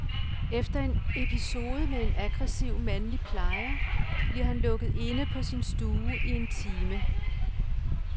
Efter en episode med en aggressiv mandlig plejer bliver han lukket inde på sin stue i en time.